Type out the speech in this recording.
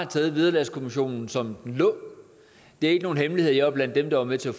taget vederlagskommissionens model som den lå det er ikke nogen hemmelighed at jeg var blandt dem der var med til at